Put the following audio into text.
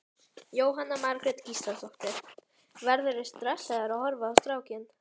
Jóhanna Margrét Gísladóttir: Verðurðu stressaður að horfa á strákinn?